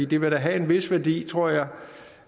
det vil have en vis værdi tror jeg